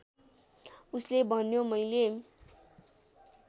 उसले भन्यो मैले